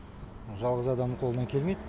жалғыз адамның қолынан келмейді